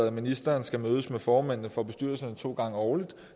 at ministeren skal mødes med formændene for bestyrelserne to gange årligt